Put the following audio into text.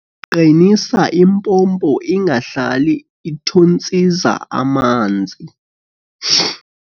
Qinisa impompo ingahlali ithontsiza amanzi.